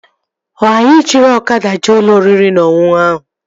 Ọ anyị jiri ọkada jee ụlọ oriri na ọṅụṅụ ahụ?